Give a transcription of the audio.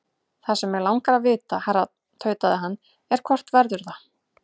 Það sem mig langar að vita, herra tautaði hann, er, hvort verður það?